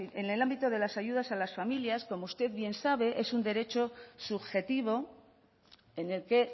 en el ámbito de las ayudas a las familias como usted bien sabe es un derecho subjetivo en el que